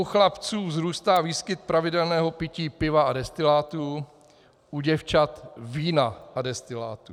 U chlapců vzrůstá výskyt pravidelného pití piva a destilátů, u děvčat vína a destilátů.